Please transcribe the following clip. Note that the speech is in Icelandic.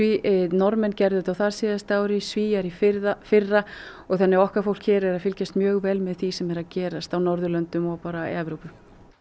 Norðmenn gerðu á þar síðasta ári Svíar í fyrra fyrra og okkar fólk hér er að fylgjast mjög vel með því sem er að gerast í Norðurlöndunum og Evrópu